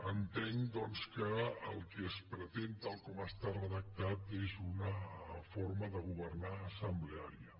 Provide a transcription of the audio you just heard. entenc doncs que el que es pretén tal com està redactat és una forma de governar assembleària